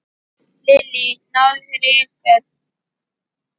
Lillý: Náðu þeir einhverjum?